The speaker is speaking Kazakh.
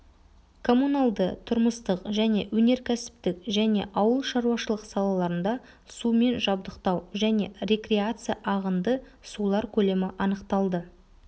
коммуналды-тұрмыстық және өнеркәсіптік және ауыл шаруашылық салаларында сумен жабдықтау және рекреация ағынды сулар көлемі анықталды